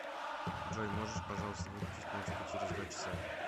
джой можешь пожалуйста выключить музыку через два часа